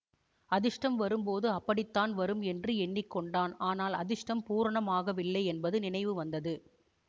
அதிர்ஷ்டம் வரும்போது அப்படித்தான் வரும் என்று எண்ணிக்கொண்டான் ஆனால் அதிர்ஷ்டம் பூரணமாகவில்லை என்பது நினைவு வந்தது